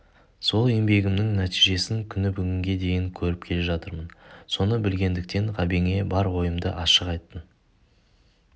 сол еңбегімнің нәтижесін күні бүгінге дейін көріп келе жатырмын соны білгендіктен ғабеңе бар ойымды ашық айттым